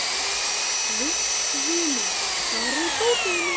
Kristvina, hvar er dótið mitt?